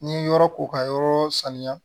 N'i ye yɔrɔ ko ka yɔrɔ saniya